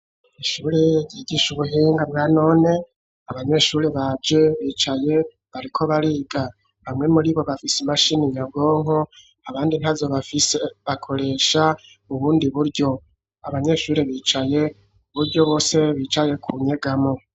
Ishuri ryigisha ubuhinga bwa none abanyeshure baje bicaye bariko bariga, bamwe muri bo bafise imashini nyabwonko abandi ntazo bakoresha ubundi buryo abanyeshure bicaye kuburyo bose bicaye ku nyegamo.